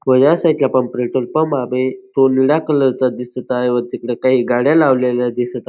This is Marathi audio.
व यासाठी तो निळ्या कलर चा दिसत आहे व तिकडे काही गाड्या लावलेल्या दिसत आ --